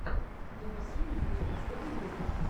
би би си ньюс последний выпуск